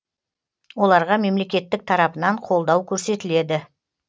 оларға мемлекеттік тарапынан қолдау көрсетіледі